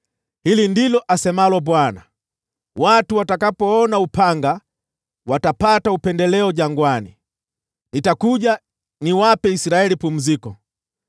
Hili ndilo asemalo Bwana : “Watu watakaopona upanga watapata upendeleo jangwani; nitakuja niwape Israeli pumziko.”